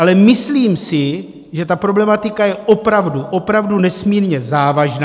Ale myslím si, že ta problematika je opravdu, opravdu nesmírně závažná.